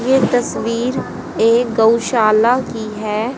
ये तस्वीर एक गऊशाला की है।